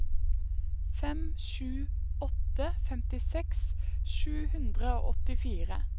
fem sju åtte åtte femtiseks sju hundre og åttifire